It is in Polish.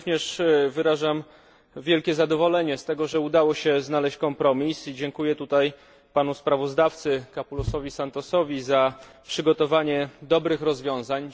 Ja również wyrażam wielkie zadowolenie z tego, że udało się znaleźć kompromis, i dziękuję panu sprawozdawcy Capoulasowi Santosowi za przygotowanie dobrych rozwiązań.